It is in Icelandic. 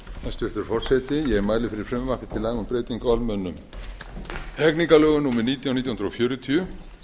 hæstvirtur forseti ég mæli fyrir frumvarpi á laga um breytingu á almennum hegningarlögum númer nítján nítján hundruð fjörutíu